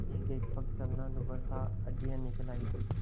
एकएक पग चलना दूभर था हड्डियाँ निकल आयी थीं